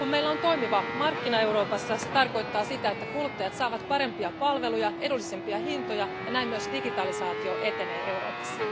Kun meillä on toimivat markkinat Euroopassa, se tarkoittaa sitä, että kuluttajat saavat parempia palveluja ja edullisempia hintoja ja näin myös digitalisaatio etenee Euroopassa.